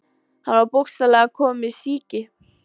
Hann var bókstaflega kominn með sýki.